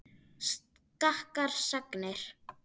Skakkar sagnir.